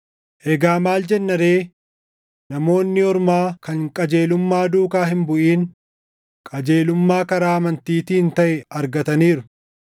Egaa maal jenna ree? Namoonni Ormaa kan qajeelummaa duukaa hin buʼin qajeelummaa karaa amantiitiin taʼe argataniiru.